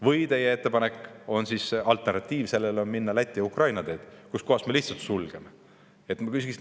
Või on teie ettepanek, et me kasutaksime alternatiivina Läti ja Ukraina teed ja lihtsalt sulgeksime?